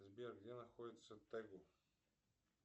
сбер где находится тэгу